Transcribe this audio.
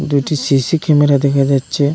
দুইটি CC camera দেখা যাচ্ছে।